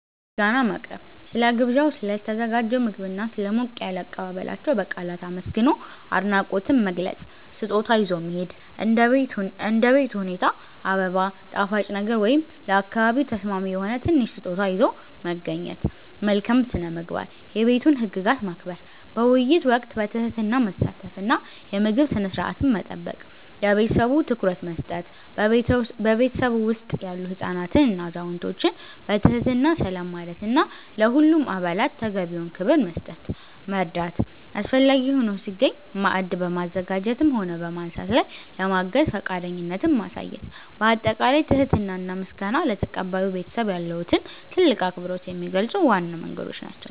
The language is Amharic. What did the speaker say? ምስጋና ማቅረብ፦ ስለ ግብዣው፣ ስለ ተዘጋጀው ምግብና ስለ ሞቅ ያለ አቀባበላቸው በቃላት አመስግኖ አድናቆትን መግለጽ። ስጦታ ይዞ መሄድ፦ እንደ ቤት ሁኔታ አበባ፣ ጣፋጭ ነገር ወይም ለአካባቢው ተስማሚ የሆነ ትንሽ ስጦታ ይዞ መገኘት። መልካም ስነ-ምግባር፦ የቤቱን ህግጋት ማክበር፣ በውይይት ወቅት በትህትና መሳተፍ እና የምግብ ስነ-ስርዓትን መጠበቅ። ለቤተሰቡ ትኩረት መስጠት፦ በቤቱ ውስጥ ያሉ ህፃናትንና አዛውንቶችን በትህትና ሰላም ማለትና ለሁሉም አባላት ተገቢውን ክብር መስጠት። መርዳት፦ አስፈላጊ ሆኖ ሲገኝ ማዕድ በማዘጋጀትም ሆነ በማንሳት ላይ ለማገዝ ፈቃደኝነትን ማሳየት። ባጠቃላይ ትህትና እና ምስጋና ለተቀባዩ ቤተሰብ ያለዎትን ትልቅ አክብሮት የሚገልጹ ዋና መንገዶች ናቸው።